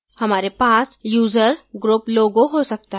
हमारे पास user group logo हो सकता है